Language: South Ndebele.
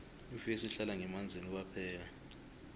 ifesi ihlala ngemanzini kwaphela